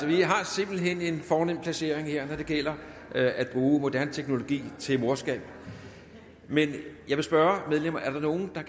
vi har simpelt hen en fornem placering her når det gælder at bruge moderne teknologi til morskab men jeg vil spørge medlemmerne er der nogen der